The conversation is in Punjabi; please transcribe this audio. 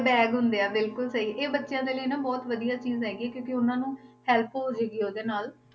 Bag ਹੁੰਦੇ ਆ ਬਿਲਕੁਲ ਸਹੀ ਇਹ ਬੱਚਿਆਂ ਦੇ ਲਈ ਨਾ ਬਹੁਤ ਵਧੀਆ ਚੀਜ਼ ਹੈਗੀ ਆ ਕਿਉਂਕਿ ਉਹਨਾਂ ਨੂੰ help ਹੋ ਜਾਏਗੀ ਉਹਦੇ ਨਾਲ